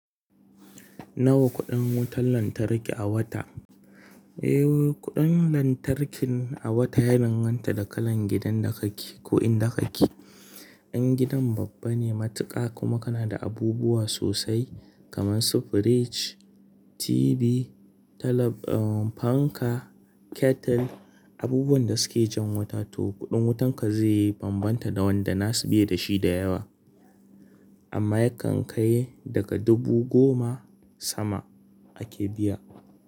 Nawa kuɗin wutar lantarki a wata? Eh, kuɗin lantarkin a wata ya danganta da kalan gidan da kake ko inda kake. In gidan babba ne, matuƙa kuma kana da abubuwa sosai kamar su fridge, TV, talab, uhm, fanka, kettle, abubuwan da suke jan wuta to kuɗin wutan ka zai bambanta da wanda nasu bai da shi da yawa. Amma yakan kai daga dubu goma sama ake biya.